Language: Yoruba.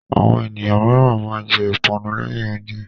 Àwọn ènìyàn mìíràn máa ń jẹ ìpanu lẹ́yìn oúnjẹ.